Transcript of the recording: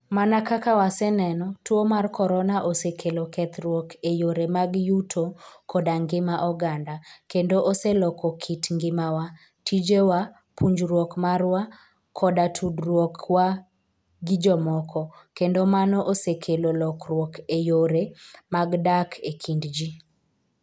Mana kaka waseneno, tuo mar korona osekelo kethruok e yore mag yuto koda ngima oganda, kendo oseloko kit ngimawa, tijewa, puonjruok marwa, koda tudruokwa gi jomoko, kendo mano osekelo lokruok e yore mag dak e kind ji.